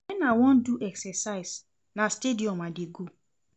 Wen I wan do exercise, na stadium I dey go.